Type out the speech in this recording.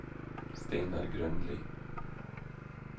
Steinar Grønli